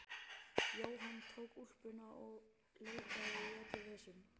Jóhann tók úlpuna og leitaði í öllum vösum.